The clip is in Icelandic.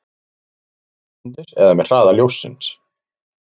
Samstundis eða með hraða ljóssins?